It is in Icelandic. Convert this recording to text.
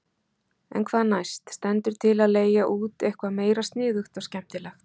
En hvað næst, stendur til að leigja út eitthvað meira sniðugt og skemmtilegt?